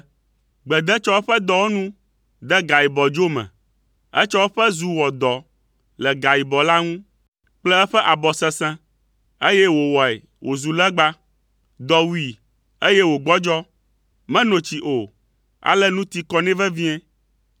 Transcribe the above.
Gbede tsɔ eƒe dɔwɔnu de gayibɔdzo me. Etsɔ eƒe zu wɔ dɔ le gayibɔ la ŋu kple eƒe abɔ sesẽ, eye wòwɔe wòzu legba. Dɔ wui, eye wògbɔdzɔ. Meno tsi o, ale nu ti kɔ nɛ vevie.